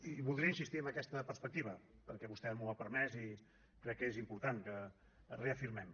i voldria insistir en aquesta perspectiva perquè vostè m’ho ha permès i crec que és important que ho reafirmem